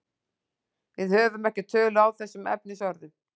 Við höfum ekki tölu á þessum efnisorðum.